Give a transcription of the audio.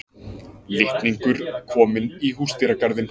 Litningur kominn í húsdýragarðinn